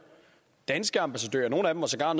danske ambassadører sågar